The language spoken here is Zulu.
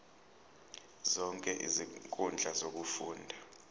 zonke izinkundla zokufunda